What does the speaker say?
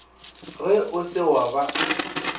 ge o se wa ba